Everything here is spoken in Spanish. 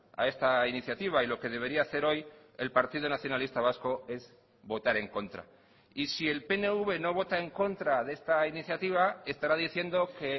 a esta iniciativa y lo que debería hacer hoy el partido nacionalista vasco es votar en contra y si el pnv no vota en contra de esta iniciativa estará diciendo que